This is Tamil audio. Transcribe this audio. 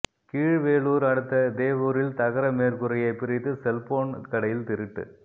கீழ்வேளூர் அடுத்த தேவூரில் தகர மேற்கூரையை பிரித்து செல்போன் கடையில் திருட்டு